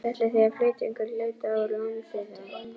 Ætlið þið að flytja einhvern hluta úr landi þá?